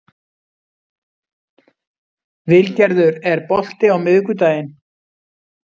Vilgerður, er bolti á miðvikudaginn?